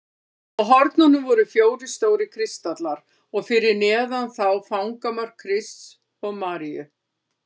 Á hornunum voru fjórir stórir kristallar og fyrir neðan þá fangamörk Krists og Maríu.